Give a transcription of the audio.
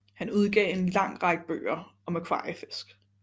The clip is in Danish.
Han udgav en lang række bøger om akvariefisk